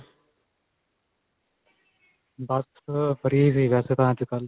ਬਸ ਅਅ free ਸੀ ਵੈਸੇ ਤਾਂ ਅੱਜਕਲ੍ਹ.